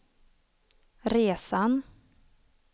resan